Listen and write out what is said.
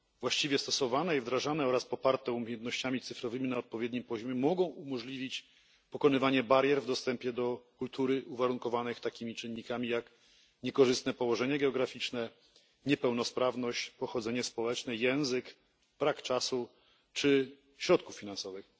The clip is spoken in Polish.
Właściwie stosowane i wdrażane oraz poparte umiejętnościami cyfrowymi na odpowiednim poziomie mogą umożliwić pokonywanie barier w dostępie do kultury uwarunkowanych takimi czynnikami jak niekorzystne położenie geograficzne, niepełnosprawność, pochodzenie społeczne, język, brak czasu czy środków finansowych.